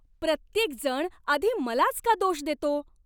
प्रत्येकजण आधी मलाच का दोष देतो?